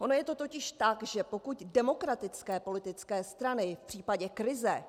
Ono je to totiž tak, že pokud demokratické politické strany v případě krize